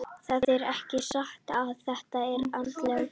Það er ekki satt að þetta sé andlegt.